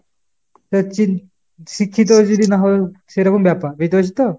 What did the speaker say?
চিন শিক্ষিত যদি না হয়ে সেরকম ব্যাপার, বুঝতে পেরেছো তো ?